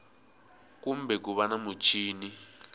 kumbe ku va na muchini